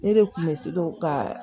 Ne de kun bɛ se ka